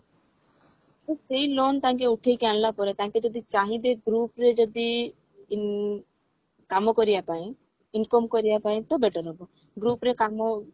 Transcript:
ତ ସେଇ loan ତାଙ୍କେ ଉଠେଇକି ଆଣିଲା ପରେ ତାଙ୍କେ ଯଦି ଚାହିଁବେ group ରେ ଯଦି ଇଁ କାମ କରିବା ପାଇଁ income କରିବା ପାଇଁ ତ better ହବ group ରେ କାମ